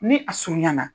Ni a surunyana